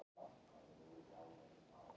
Svona ótrúlega samansaumaður!